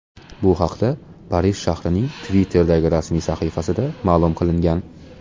Bu haqda Parij shahrining Twitter’dagi rasmiy sahifasida ma’lum qilingan .